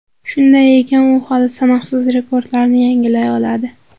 Shunday ekan, u hali sanoqsiz rekordlarni yangilay oladi.